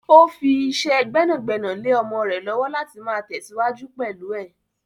Ó fi fi ìṣe gbẹ́nàgbẹ́nà lè ọmọ rẹ lọ́wọ́ láti máa tesiwaju pẹ̀lú ẹ.